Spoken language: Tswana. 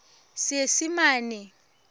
seesimane